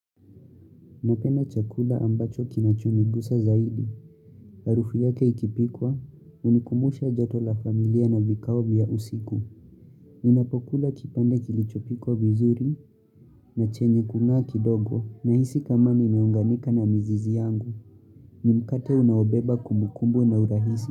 Napenda chakula ambacho kinachonigusa zaidi. Harufu yake ikipikwa, unikumbusha joto la familia na vikao vya usiku. Inapokula kipande kilichopikwa vizuri na chenye kung'aa kidogo nahisi kama nimeunganika na mizizi yangu. Ni mkate unaobeba kumbukumbu na urahisi.